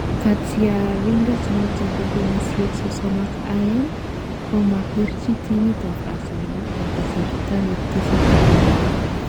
Katyarindet noton bo kenyisiek sosom ak aeng komapirchi timit ab Arsenal en kasarta netesetai nguno